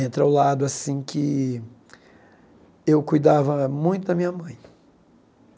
Entra o lado assim que eu cuidava muito da minha mãe.